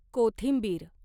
कोथिंबीर